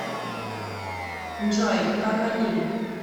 джой как они